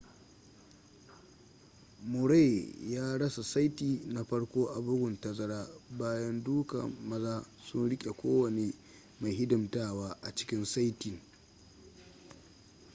murray ya rasa saiti na farko a bugun tazara bayan duka maza sun rike kowane mai hidimtawa a cikin saitin